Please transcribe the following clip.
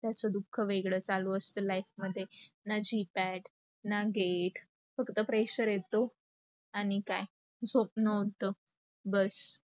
त्याच दुख वेगळच चालू असते life मध्ये. ना जिता येत, ना घेत, फक्त pressure येतो. आणी काय, झोपन होत, बस.